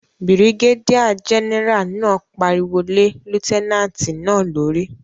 Birigédíà gẹ́nẹ́rà náà pariwo lé lútẹ́nàtì náà lórí